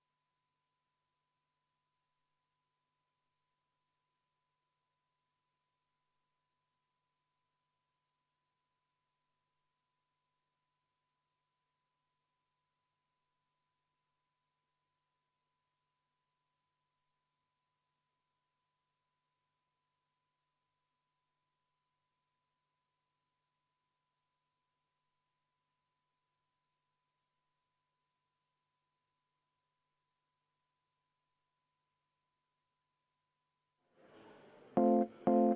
Oleme muudatusettepanekud peaaegu läbi vaadanud, aga enne seda veel väike kõrvalepõige.